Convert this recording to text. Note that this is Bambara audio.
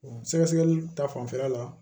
Sɛgɛsɛgɛli ta fanfɛla la